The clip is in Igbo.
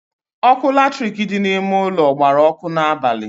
Ọkụ latirik dị n'ime ụlọ gbara ọkụ n'abalị